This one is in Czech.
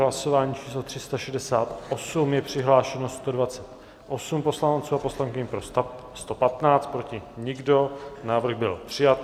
Hlasování číslo 368, je přihlášeno 128 poslanců a poslankyň, pro 115, proti nikdo, návrh byl přijat.